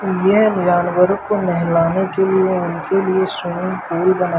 यह जानवरों को नहलाने के लिए उनके लिए स्विमिंग पूल बना--